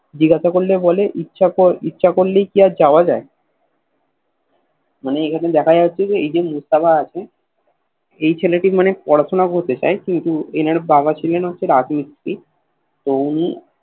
জিজ্ঞেসা করলেই বলে ইচ্ছা ক ইচ্ছে করলেই কি যাওয়া যায় মানে এটাতে দেখা যাচ্ছে যে এই যে মুস্তফা আছে এই ছেলেটি মানে পড়াশুনা করতে চাই কিন্তু এনার বাবা ছিলেন একটা রাজমিস্ত্রী তো উনি